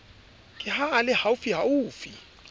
ke ha a le haufiufi